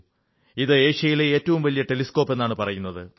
ഇത് ഏഷ്യയിലെ ഏറ്റവും വലിയ ടെലിസ്കോപ് എന്നാണ് പറയുന്നത്